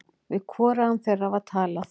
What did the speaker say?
Við hvorugan þeirra var talað.